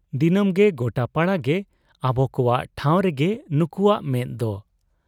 ᱫᱤᱱᱟᱹᱢᱜᱮ ᱜᱚᱴᱟᱯᱟᱲᱟ ᱜᱮ ᱟᱵᱚᱠᱚᱣᱟᱜ ᱴᱷᱟᱶᱨᱮᱜᱮ ᱱᱩᱠᱩᱣᱟᱜ ᱢᱮᱫ ᱫᱚ ᱾